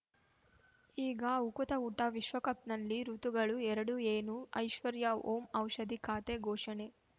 ಈಗ ಉಕುತ ಊಟ ವಿಶ್ವಕಪ್‌ನಲ್ಲಿ ಋತುಗಳು ಎರಡು ಏನು ಐಶ್ವರ್ಯಾ ಓಂ ಔಷಧಿ ಖಾತೆ ಘೋಷಣೆ